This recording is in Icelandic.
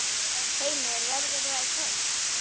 Heimir: Verður það í kvöld?